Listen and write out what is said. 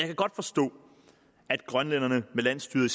kan godt forstå at grønlænderne med landsstyret